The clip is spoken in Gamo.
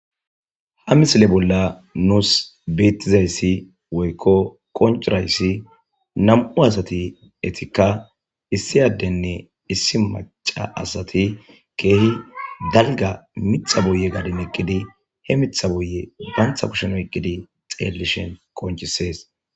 ha misile bolla nuus beettizayssi woykko koncurayssi nam7u asati etikka issi addenne issi maca asati keehi dalga mixa buye gadi meqqidi he mixha buye bantha kushen oyqqidi xeellishen konchisees